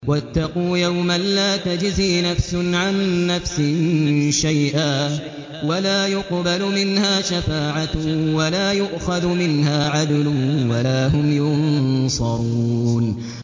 وَاتَّقُوا يَوْمًا لَّا تَجْزِي نَفْسٌ عَن نَّفْسٍ شَيْئًا وَلَا يُقْبَلُ مِنْهَا شَفَاعَةٌ وَلَا يُؤْخَذُ مِنْهَا عَدْلٌ وَلَا هُمْ يُنصَرُونَ